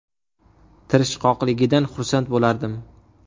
Tirishqoqligidan xursand bo‘lardim.